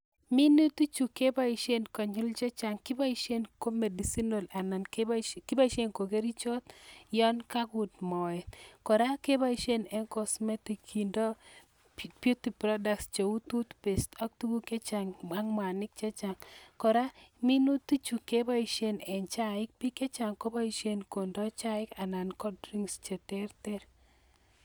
minutik chu keboisien ko kerichot ya kakuut moet ,kora keboisien en cosmetics kindoi beauty products ko u toothpaste ak tuguk chechang ak mwanik chechang ,kora minutik chu kebaisien eng chaik bik chechang kobaisien konde chaik anan ko drinks che terter